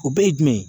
O bɛɛ ye jumɛn ye